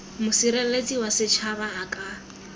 mosireletsi wa setšhaba a ka